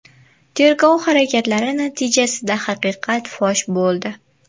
Tergov harakatlari natijasida haqiqat fosh bo‘ldi.